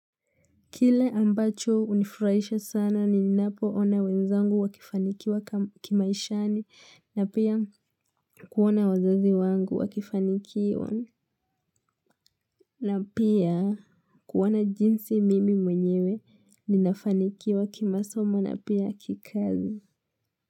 Kile ambacho unifurahisha sana ninapona wenzangu wakifanikiwa kimaishani na pia kuona wazazi wangu wakifanikiwa na pia kuona jinsi mimi mwenyewe ninafanikiwa kimasomo na pia kikazi.